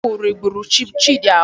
Ọgwụ riburu Chidi ahụ